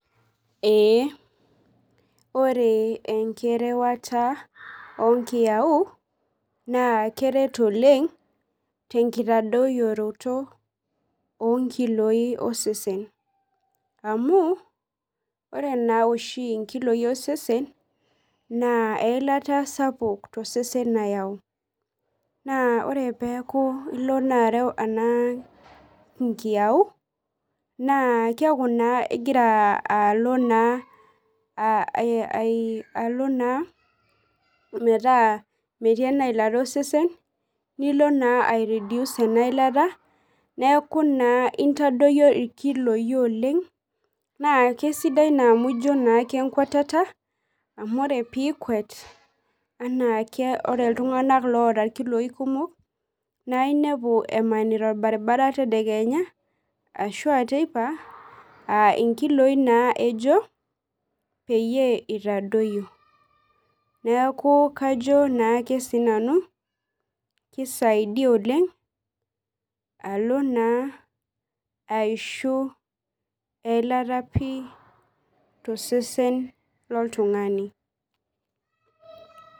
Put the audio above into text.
Ee ore enkirewara onkiyawu na keret oleng tenkitadoyioroto onkiloi osesen amu ore oshi nkiloi osesen na eilata sapuk nayau na ore peaku ilo arew nkiyau na keaku naa ingira alo naa alo na metaa metii enailata osesen nilo na ai reduce enailata neaku naa intadoyio nkiloi oleng na kesidai amu ijo ake enkwatata amu ore pikwet anaake ore ltunganak oata nkiloi kumok na inepu emanita orbaribara tedekenya ashu a teipa a inkiloi na ejo piitadoyio neaku kajo naake sinanu kisaidia oleng alo na aishi eilata pii tosesen loltungani.